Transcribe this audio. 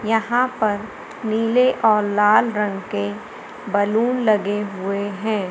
यहां पर नीले और लाल रंग के बलून लगे हुए है।